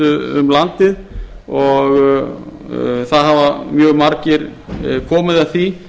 um landið þar hafa mjög margir komið að því